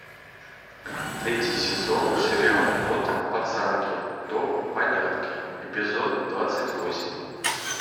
третий сезон сериал от пацанки до панянки эпизод двадцать восемь